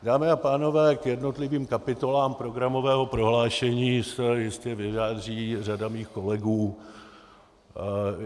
Dámy a pánové, k jednotlivým kapitolám programového prohlášení se jistě vyjádří řada mých kolegů.